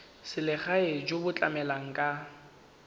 selegae jo bo tlamelang ka